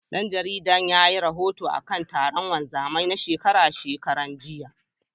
Ɗan jaridar yayi rahoto akan taron wanzamai na shekara shekara, jiya.